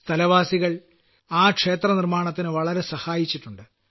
സ്ഥലവാസികൾ ആ ക്ഷേത്രനിർമ്മാണത്തിന് വളരെ സഹായിച്ചിട്ടുണ്ട്